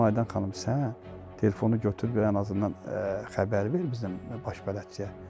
Dedim Aydan xanım, sən telefonu götür və ən azından xəbər ver bizim baş bələdçiyə.